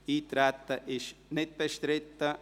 – Das Eintreten ist nicht bestritten.